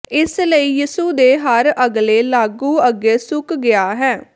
ਇਸ ਲਈ ਯਿਸੂ ਦੇ ਹਰ ਅਗਲੇ ਲਾਗੂ ਅੱਗੇ ਸੁੱਕ ਗਿਆ ਹੈ